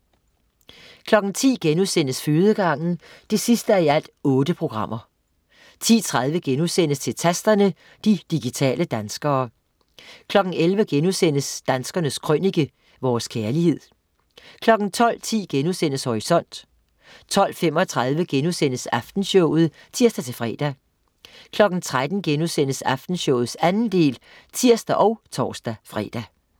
10.00 Fødegangen 8:8* 10.30 Til Tasterne, de digitale danskere* 11.00 Danskernes Krønike. Vores kærlighed* 12.10 Horisont* 12.35 Aftenshowet* (tirs-fre) 13.00 Aftenshowet 2. del* (tirs og tors-fre)